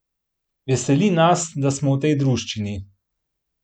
Veseli nas, da smo v tej druščini.